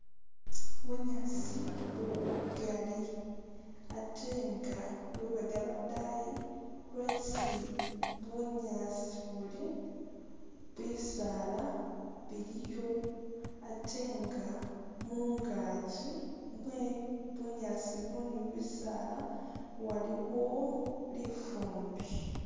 Bunyaasi buli bugaali ate nga lubega lwodani lwesi bunyaasi buli bisaala biliyo ate nga mungaki mwe bunyaasi buno ne bisaala waliwo lifumbi.